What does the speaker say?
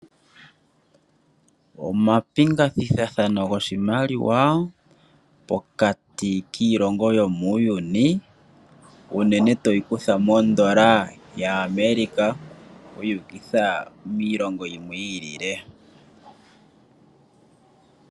Omapingakanitho goshimaliwa pokati kiilongo yomuuyuni unene toyi kutha mondola ya America yu ukitha miilongo yimwe yi ili.